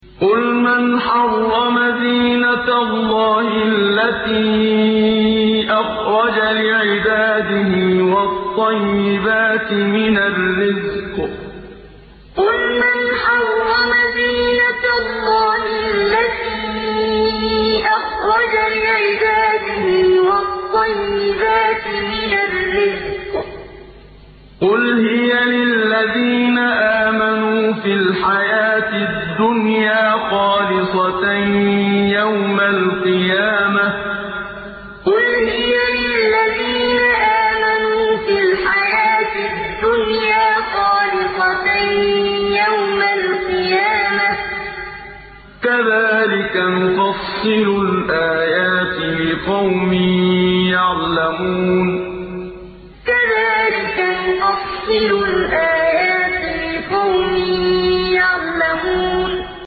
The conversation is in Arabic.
قُلْ مَنْ حَرَّمَ زِينَةَ اللَّهِ الَّتِي أَخْرَجَ لِعِبَادِهِ وَالطَّيِّبَاتِ مِنَ الرِّزْقِ ۚ قُلْ هِيَ لِلَّذِينَ آمَنُوا فِي الْحَيَاةِ الدُّنْيَا خَالِصَةً يَوْمَ الْقِيَامَةِ ۗ كَذَٰلِكَ نُفَصِّلُ الْآيَاتِ لِقَوْمٍ يَعْلَمُونَ قُلْ مَنْ حَرَّمَ زِينَةَ اللَّهِ الَّتِي أَخْرَجَ لِعِبَادِهِ وَالطَّيِّبَاتِ مِنَ الرِّزْقِ ۚ قُلْ هِيَ لِلَّذِينَ آمَنُوا فِي الْحَيَاةِ الدُّنْيَا خَالِصَةً يَوْمَ الْقِيَامَةِ ۗ كَذَٰلِكَ نُفَصِّلُ الْآيَاتِ لِقَوْمٍ يَعْلَمُونَ